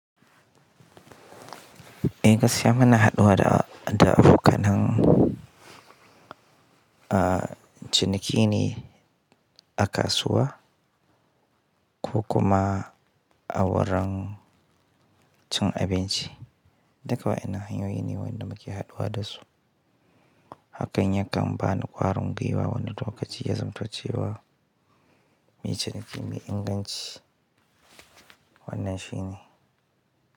Eh gaskiya muna haɗuwa da, da abokanan, ah, cinikine a kasuwa ko kuma a wurin cin abinci. Duk waʼyinnan hanyoyi ne waɗanda muke haɗuwa da su. Hakan ya kam bani ƙwarin gwiwa wani lokaci ya zamto cewa muyi ciniki mai inganci wannan shine.